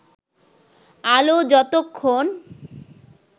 আলো যতক্ষণ